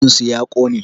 Ajin su ya ƙone